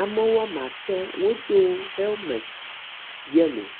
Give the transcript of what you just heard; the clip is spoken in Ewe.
Ame woama atɔ̃ wodo helment yellow.